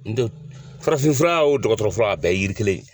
farafinfura o dɔgɔtɔrɔ fura o a bɛɛ yiri kelen ye.